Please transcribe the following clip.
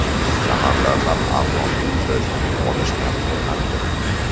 Shaharlarda arzon uy-joy sotib olish tartibi qanday?.